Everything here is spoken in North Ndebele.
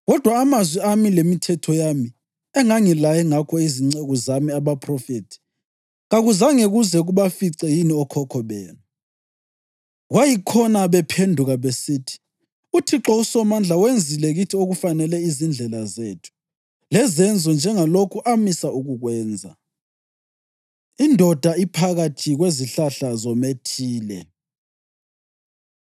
Kodwa amazwi ami lemithetho yami engangilaye ngakho izinceku zami abaphrofethi kakuzange kuze kubafice yini okhokho benu? Kwayikhona bephenduka besithi, ‘ UThixo uSomandla wenzile kithi okufanele izindlela zethu lezenzo njengalokho amisa ukukwenza.’ ” Indoda Iphakathi Kwezihlahla Zomethile